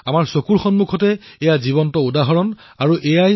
আমাৰ চকুৰ সন্মুখতেই জীৱন্ত উদাহৰণ দেখিবলৈ পাইছো